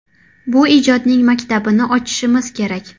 Bu ijodning maktabini ochishimiz kerak.